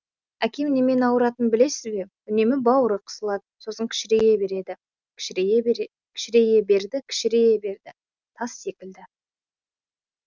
әкем немен ауратынын білесіз бе үнемі бауыры қысылады сосын кішірейе берді кішірейе берді тас секілді